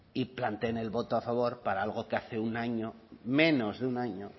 y planteen el voto a favor para algo que hace un año menos de un año